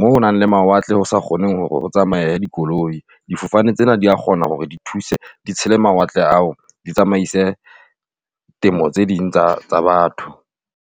mo nang le mawatle, ho sa kgoneng hore ho tsamaye dikoloi. Difofane tsena dia kgona hore di thuse di tshele mawatle a o di tsamaise temo tse ding tsa batho.